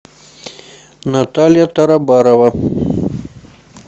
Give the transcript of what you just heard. наталья тарабарова